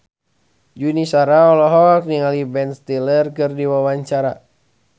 Yuni Shara olohok ningali Ben Stiller keur diwawancara